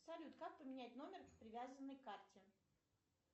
салют как поменять номер привязанный к карте